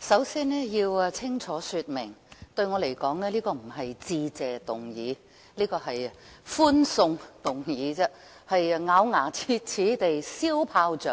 首先，我要清楚說明，對我而言這一項議案並非"致謝議案"，而是"歡送議案"，是要咬牙切齒地燒炮竹